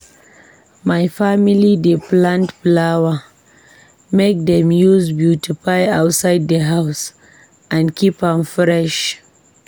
My family dey plant flower make dem use beautify outside di house and keep am fresh.